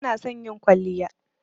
Bana son yin kwalliya.